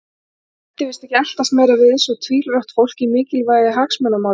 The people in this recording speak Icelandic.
Nennti víst ekki að eltast meira við svo tvílrátt fólk í mikilvægu hagsmunamáli þess sjálfs.